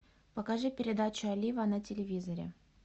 покажи передачу олива на телевизоре